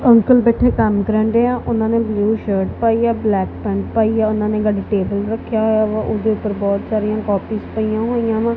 Uncle ਬੈਠੇ ਕੰਮ ਕਰ ਰਹੇ ਆ ਉਹਨਾਂ ਨੇ ਬਲੂ ਸ਼ਰਟ ਪਾਈ ਆ ਬਲੈਕ ਪੈਂਟ ਪਾਈ ਆ ਉਹਨਾਂ ਨੇ ਗ਼ਾਰੀ ਟੇਬਲ ਰੱਖਿਆ ਉਹਦੇ ਉੱਪਰ ਬਹੁਤ ਸਾਰੀਆਂ ਕੋਪੀਜ਼ ਪਈਆਂ ਹੋਈਆਂ ਵਾ।